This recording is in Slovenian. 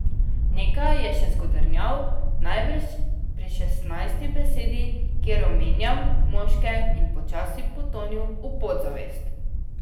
Nekaj je še zagodrnjal, najbrž pri šestnajsti besedi, kjer omenjam moške, in počasi potonil v podzavest.